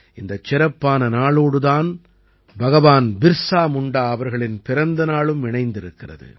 இந்தச் சிறப்பான நாளோடு தான் பகவான் பிர்ஸா முண்டா அவர்களின் பிறந்த நாளும் இணைந்திருக்கிறது